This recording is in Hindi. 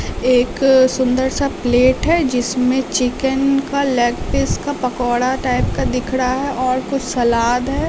एक सुंदर सा प्लेट है जिसमें चिकन का लेग पीस का पकौड़ा टाइप का दिख रहा है और कुछ सलाद है।